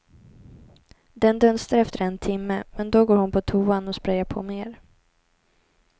Den dunstar efter en timme men då går hon på toan och sprayar på mer.